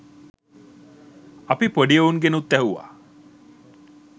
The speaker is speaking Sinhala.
අපි පොඩි එවුන්ගෙනුත් ඇහුවා